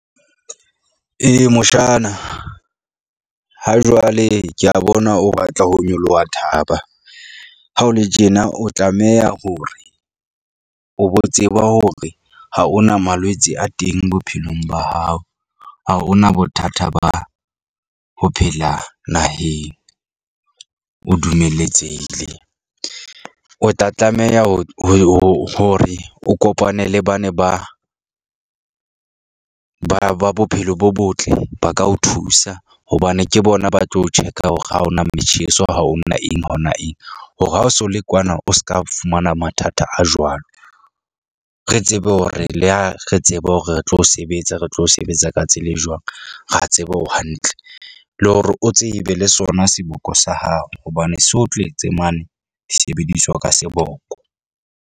Eya, moshana ha jwale, ke a bona o batla ho nyoloha thaba. Ha o le tjena, o tlameha hore o bo tseba hore ha o na malwetse a teng bophelong ba hao. A ho na bothata ba ho phela naheng o dumeletsehile, o tla tlameha ho hore o kopane le ba ne ba ba ba bophelo bo botle. Ba ka o thusa hobane ke bona ba tlo o check-a hore ha o na metjheso ha o na eng hona eng hore ha o so le kwana, o ska fumana mathata a jwalo. Re tsebe hore, le ha re tseba hore re tlo sebetsa, re tlo sebetsa ka tsela e jwang. Ra tseba o hantle le hore o tsebe le sona seboko sa hao hobane se o tletse mane disebediswa ka seboko.